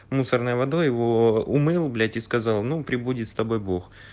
мусорной водой его умыл блять и сказал ну пребудет с тобой бог